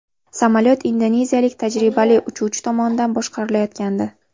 Samolyot indoneziyalik tajribali uchuvchi tomonidan boshqarilayotgandi.